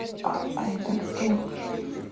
а это кто